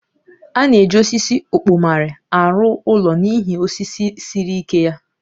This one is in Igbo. A na-eji osisi ọkpọmarị arụ ụlọ n'ihi osisi siri ike ya